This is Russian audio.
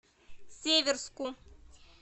северску